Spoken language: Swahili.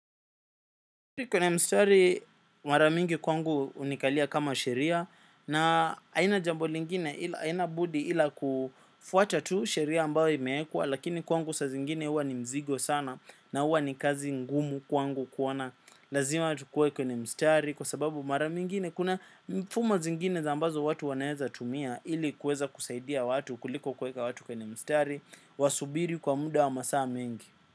Kwenye mstari, mara nyingi kwangu ni kama sheria na sina jambo lingine ila sina budi kufuata tu sheria ambayo imewekwa, lakini kwangu wakati mwingine huwa ni mzigo sana na huwa ni kazi ngumu kwangu kuona. Lazima tukue kwenye mstari kwa sababu mara nyingi kuna mifumo zingine ambayo watu wanaweza kutumia ili kuweza kusaidia watu kuliko kuweka watu kwenye mstari wasubiri kwa muda wa masaa mengi.